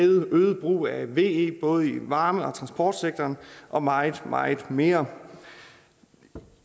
øget brug af ve både i varme og transportsektoren og meget meget mere